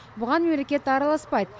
бұған мемлекет араласпайды